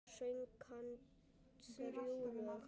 Söng hann þrjú lög.